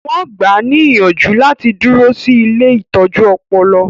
Wọn gbáà ní ìyànjú láti dúró sí ilée ìtọ́jú ọpọlọ